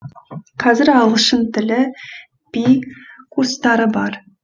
қазір ағылшын тілі би курстары бар